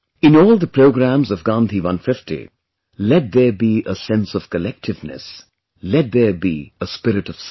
In all the programmes of Gandhi 150, let there be a sense of collectiveness, let there be a spirit of service